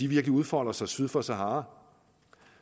virkelig udfolder sig syd for sahara